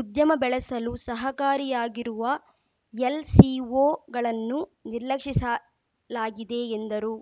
ಉದ್ಯಮ ಬೆಳೆಸಲು ಸಹಕಾರಿಯಾಗಿರುವ ಎಲ್‌ಸಿಓಗಳನ್ನುನಿರ್ಲಕ್ಷಿಸಲಾಗಿದೆ ಎಂದರು